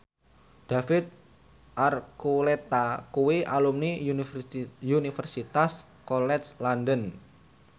David Archuletta kuwi alumni Universitas College London